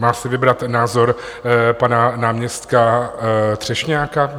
Má si vybrat názor pana náměstka Třešňáka?